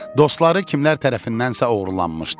Dostları kimlərsə tərəfindənsə oğurlanmışdı.